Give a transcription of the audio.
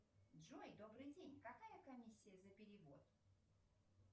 джой добрый день какая комиссия за перевод